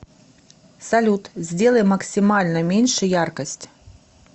салют сделай максимально меньше яркость